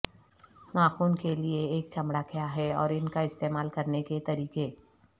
ناخن کے لئے ایک چمڑا کیا ہے اور ان کا استعمال کرنے کے طریقے